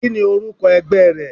Kíni orúkọ ẹgbẹ́ rẹ?